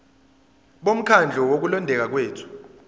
bomkhandlu wokulondeka kwethu